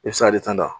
I bɛ se ka ale tan